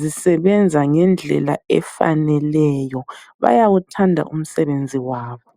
zisebenza ngendlela efaneleyo. Bayawuthanda umsebenzi wabo.